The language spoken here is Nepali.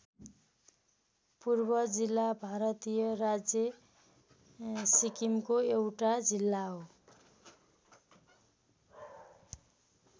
पूर्व जिल्ला भारतीय राज्य सिक्किमको एउटा जिल्ला हो।